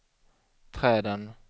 träden